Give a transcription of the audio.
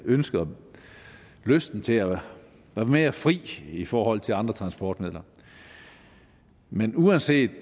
ønsket om og lysten til at være mere fri i forhold til andre transportmidler men uanset